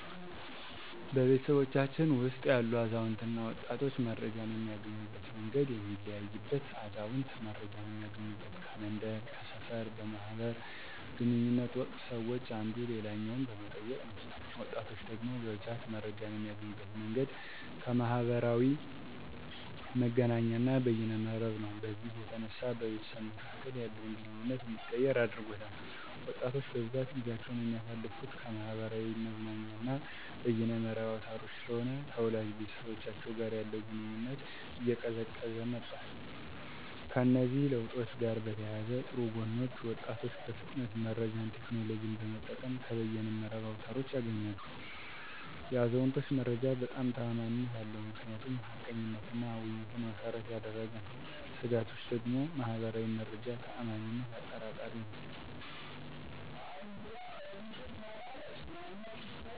በቤተሰባችን ውስጥ ያሉ አዛውንትና ወጣቶች መረጃን የሚያገኙበት መንገድ የሚለያይበት አዛውንት መረጃን እሚያገኙበት ከመንደር፥ ከሰፈር በማህበር ግንኙነት ወቅት ሰወች አንዱ ሌላኛውን በመጠየቅ ነው። ወጣቶች ደግሞ በብዛት መረጃን የሚያገኙበት መንገድ ከማህበራዊ መገናኛና በየነ መረብ ነው። በዚህም የተነሳ በቤተሰብ መካከል ያለውን ግንኙነት እንዲቀየር አድርጎታል። ወጣቶች በብዛት ጊዜአቸውን የሚያሳልፍት ከማህበራዊ መዝናኛና በየነ መረብ አውታሮች ስለሆነ ከወላጅ ቤተሰቦቻቸው ጋር ያለው ግንኙነት እየቀዘቀዘ መጧል። ከእነዚህ ለውጦች ጋር በተያያዘ ጥሩ ጎኖች ወጣቶች በፍጥነት መረጃን ቴክኖሎጅን በመጠቀም ከየነ መረብ አውታሮች ያገኛሉ። የአዛውንቶች መረጃ በጣም ተአማኒነት አለው ምክንያቱም ሀቀኝነትና ውይይትን መሰረት ያደረገ ነው። ስጋቶች ደግሞ ማህበር መረጃ ተአማኒነት አጠራጣሪ ነዉ።